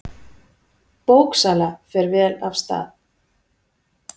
Bóksala fer vel af stað.